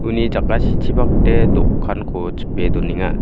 uni jakasichipakde dokanko chipe donenga